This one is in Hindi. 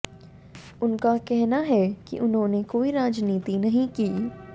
उनका कहना है कि उन्होंने कोई राजनीति नहीं की